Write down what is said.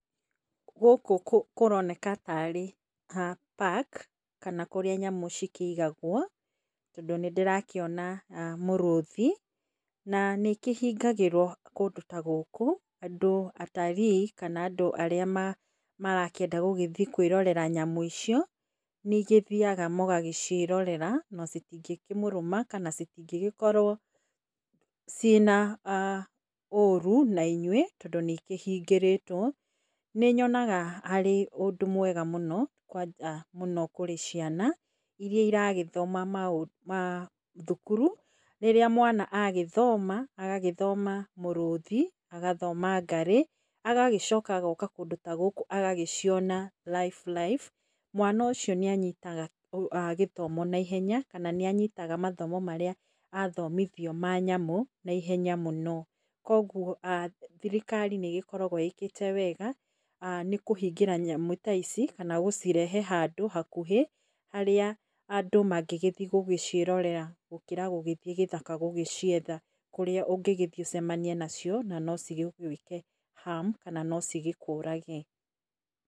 Gũkũ kũroneka tarĩ park kana kũrĩa nyamũ cikĩigagwo, tondũ nĩ ndĩrakĩona mũrũthi, nanĩ ĩkĩhingagĩrwo kũndũ ta gũkũ, andũ atarii kana andũ arĩa marakĩenda gũgĩthiĩ kwĩrorera nyamũ icio, nĩ igĩthiaga mũgagĩciĩrorera, na citingĩkĩmũrũma kana citingĩgĩkorwo ciĩna aah ũru na inyuĩ, tondũ nĩ ikĩhingĩrĩtwo. Nĩ nyonaga arĩ ũndũ mwega mũno mũno kũrĩ ciana, iria iragĩthoma maũ ma mathukuru, rĩrĩa mwana agĩthoma, agagĩthoma mũrũthi, agathoma ngarĩ, agagĩcoka agoka kũndũ ta gũkũ agagĩciona live live. Mwana ũcio nĩ anyitaga gĩthomo naihenya kana nĩ anyitaga mathomo marĩa athomithio ma nyamũ naihenya mũno. Koguo thirikari nĩ ĩgĩkoragwo ĩkĩte wega, nĩ kũhingĩra nyamũ ta ici, kana gũcirehe handũ hakuhĩ, harĩa andũ mangĩgĩthiĩ gũciĩrorera gũkĩra gũthiĩ gĩthaka gũgĩcietha, kũrĩa ũngĩgĩthiĩ ũcemanie nacio, na no cigĩgwĩke harm kana no cigĩkũrage.